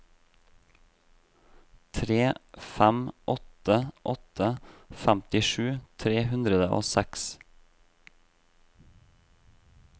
tre fem åtte åtte femtisju tre hundre og seks